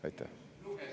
Aitäh!